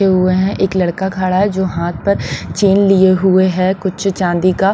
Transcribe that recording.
हुए हैं एक लड़का खड़ा है जो हाथ पर चेन लिए हुए हैं कुछ चांदी का।